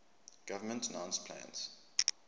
government announced plans